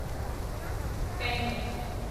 ਪੈਨਰ